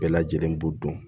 Bɛɛ lajɛlen b'u dun